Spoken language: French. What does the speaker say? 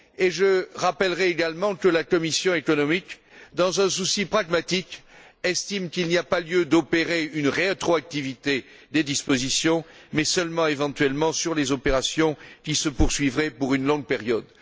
Je rappellerai également que la commission économique, dans un souci pragmatique, estime qu'il n'y a pas lieu d'imposer une rétroactivité des dispositions, sauf, éventuellement, pour les opérations qui se poursuivraient pendant une longue période.